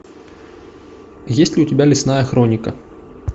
есть ли у тебя лесная хроника